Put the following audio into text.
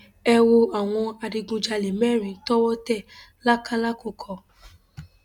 ẹ wo àwọn adigunjalè mẹrin tọwọ tẹ lákàlàkùkọ